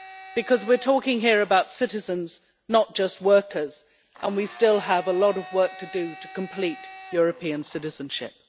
because we're talking here about citizens, not just workers. We still have a lot of work to do to complete European citizenship.